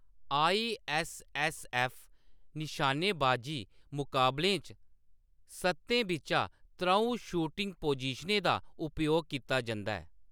ISSF. निशानेबाजी मुकाबलें च, सत्तें बिच्चा त्र'ऊं शूटिंग पोज़ीशनें दा उपयोग कीता जंदा ऐ।